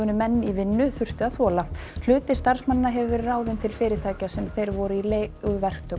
menn í vinnu þurftu að þola hluti starfsmannanna hefur verið ráðinn til fyrirtækja sem þeir voru í